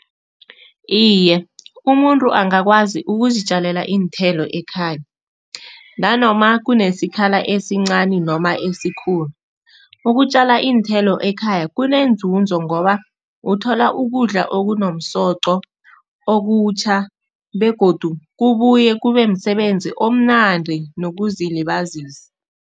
Iye, umuntu angakwazi ukuzitjalela iinthelo ekhaya nanoma kunesikhala esincani noma esikhulu. Ukutjala iinthelo ekhaya kuneenzuzo ngoba uthola ukudla okunomsoqo, okutjha begodu kubuye kube msebenzi omnandi nokuzilibazisa.